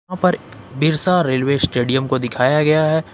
Birsa railway stadium को दिखाया गया है।